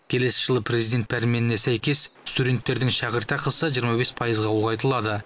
келесі жылы президент пәрменіне сәйкес студенттердің шәкіртақысы жиырма бес пайызға ұлғайтылады